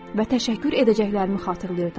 və təşəkkür edəcəklərimi xatırlayırdım.